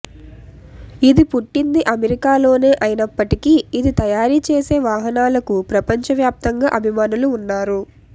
ఇది పుట్టింది అమెరికాలోనే అయినప్పటికీ ఇది తయారీ చేసే వాహనాలకు ప్రపంచ వ్యాప్తంగా అభిమానులు ఉన్నారు